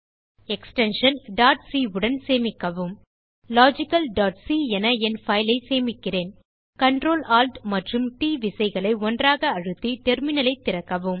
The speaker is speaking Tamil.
எக்ஸ்டென்ஷன் c உடன் சேமிக்கவும் logicalசி என என் பைல் ஐ சேமிக்கிறேன் Ctrl Alt மற்றும் ட் விசைகளை ஒருசேர அழுத்தி டெர்மினல் ஐ திறக்கவும்